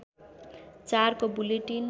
४ को बुलेटिन